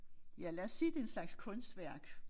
Ja lad os sige det en slags kunstværk